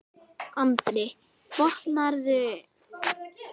Andri: Botnaðirðu eitthvað í því sem hann var að gera?